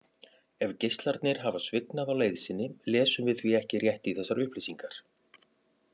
Ef geislarnir hafa svignað á leið sinni lesum við því ekki rétt í þessar upplýsingar.